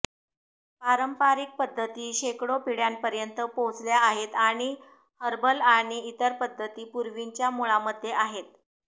पारंपारिक पद्धती शेकडो पिढ्यांपर्यंत पोहचल्या आहेत आणि हर्बल आणि इतर पध्दती पूर्वीच्या मुळांमध्ये आहेत